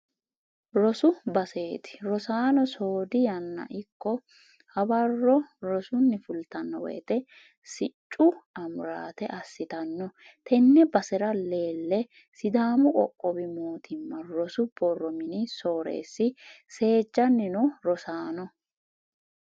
Rosu baseti rosaano soodi yanna ikko hawaro rosunni fultano woyte siccu amurate assittano tene basera leele sidaamu qoqqowu mootimma rosu borro mini soorreesi seejjani no rosaano.